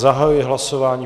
Zahajuji hlasování.